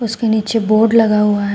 उसके नीचे बोर्ड लगा हुआ है।